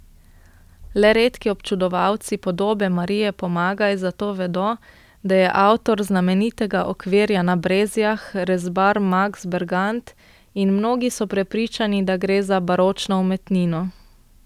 Le redki občudovalci podobe Marije Pomagaj zato vedo, da je avtor znamenitega okvirja na Brezjah rezbar Maks Bergant in mnogi so prepričani, da gre za baročno umetnino.